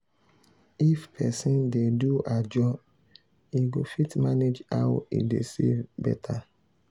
if person dey do ajo e go fit manage how e dey save better.